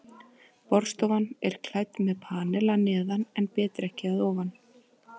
Borðstofan er klædd með panel að neðan en betrekki að ofan.